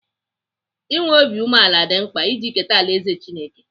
I nwee obi umeala dị mkpa iji keta alaeze Chineke.